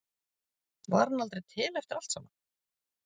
Var hann aldrei til eftir allt saman?